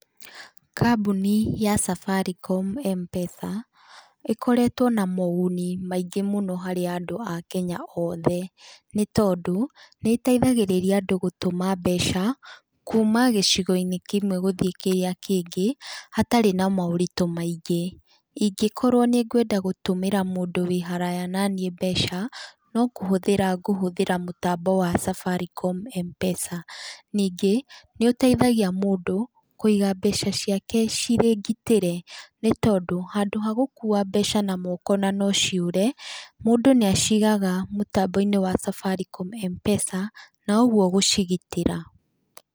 Kambuni ya Safaricom Mpesa ĩkoretwe na moguni mingĩ mũno harĩ andu a Kenya othe nĩtondũ nĩteithagĩrĩria andũ gũtũma mbeca kuuma gĩcigoinĩ kĩmwe gũthiĩ kĩrĩa kĩngĩ hatarĩ na maũritũ maingĩ, ingĩkorwo nĩkwenda gũtũmĩra mũndũ wĩhara naniĩ mbeca nokũhũthĩra ngũhũthĩra mĩtambo wa Safaricom Mpesa ningĩ nĩũteithagia mũndũ kũiga mbeca ciake cirĩngiitĩre nĩtondũ handũ ha gũkua mbeca na guoko no ciore ,mũndũ nĩacigaga mũtamboinĩ wa Safaricom Mpesa nĩguo gũcigĩtĩra.